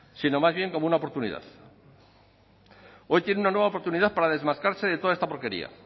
sino más bien como una oportunidad hoy tienen una nueva oportunidad para desmarcarse de toda esta porquería